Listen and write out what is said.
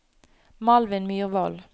Malvin Myrvold